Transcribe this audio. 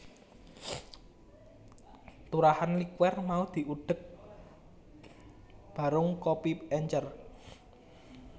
Turahan liquer mau diudheg barung kopi encer